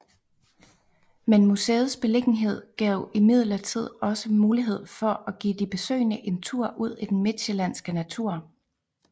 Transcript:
Men museets beliggenhed gav imidlertid også mulighed for at give de besøgende en tur ud i den midtsjællandske natur